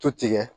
To tigɛ